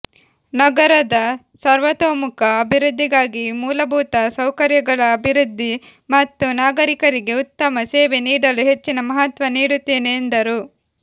ನಗರದ ಸರ್ವತೋಮುಖ ಅಭಿವೃದ್ದಿಗಾಗಿ ಮೂಲಭುತ ಸೌಕರ್ಯಗಳ ಅಭಿವೃದ್ದಿ ಮತ್ತು ನಾಗರೀಕರಿಗೆ ಉತ್ತಮ ಸೇವೆ ನೀಡಲು ಹೆಚ್ಚಿನ ಮಹತ್ವ ನೀಡುತ್ತೆನೆ ಎಂದರು